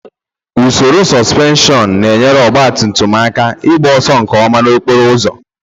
Usoro supenshion na-enyere ọgba tum tum aka igba ọsọ nke ọma n'okporo ụzọ.